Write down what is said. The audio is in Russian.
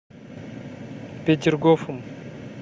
петергофом